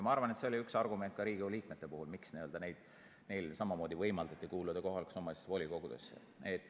Ma arvan, et see oli üks argument ka Riigikogu liikmete puhul, miks neil samamoodi võimaldati kuuluda kohalike omavalitsuste volikogudesse.